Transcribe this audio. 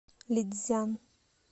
лицзян